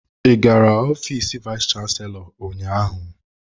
Ị gara ofiis vayis chansilọ ụnyaahụ?